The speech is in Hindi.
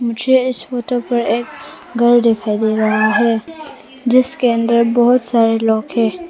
मुझे इस फोटो पर एक घर दिखाई दे रहा है जिसके अंदर बहुत सारे लोग हैं।